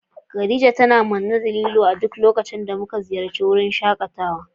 Khadija tana manne da lilo a duk lokacin da muka ziyarci wurin shakatawa.